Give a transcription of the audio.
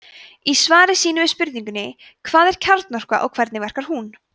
í svari sínu við spurningunni hvað er kjarnorka og hvernig verkar hún